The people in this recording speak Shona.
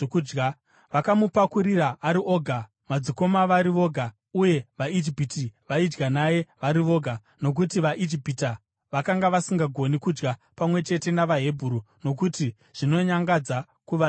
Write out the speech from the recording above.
Vakamupakurira ari oga, madzikoma vari voga, uye vaIjipita vaidya naye vari voga, nokuti vaIjipita vakanga vasingagoni kudya pamwe chete navaHebheru, nokuti zvinonyangadza kuvaIjipita.